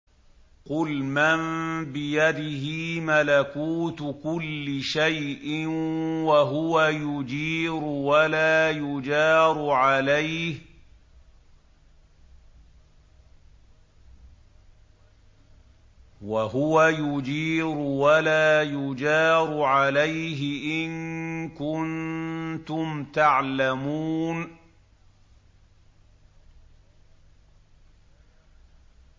قُلْ مَن بِيَدِهِ مَلَكُوتُ كُلِّ شَيْءٍ وَهُوَ يُجِيرُ وَلَا يُجَارُ عَلَيْهِ إِن كُنتُمْ تَعْلَمُونَ